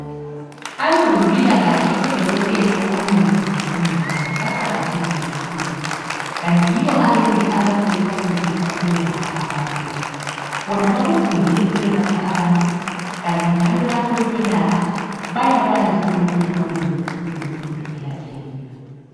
Abezempilakahle odokotela ,omongi labo mongikazi baqakathekile kakhulu. Kanti yibo abancedisa ukwelapha abantu .Bona bakufundele ukwelapha abantu kanti njalo lapho bekwelapha bayakwanzi okumele bakwenze ukuze umuntu elapheke .